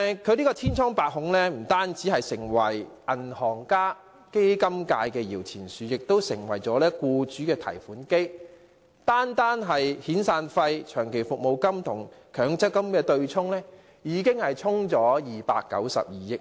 強積金千瘡百孔，不單成為銀行家及基金界的搖錢樹，亦成為僱主的提款機，單是遣散費、長期服務金與強積金的對沖，已"沖走"了292億元。